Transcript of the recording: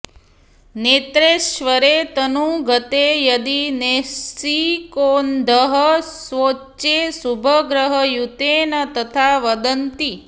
नेत्रेश्वरे तनुगते यदि नैशिकोऽन्घः स्वोच्चे शुभग्रहयुते न तथा वदन्ति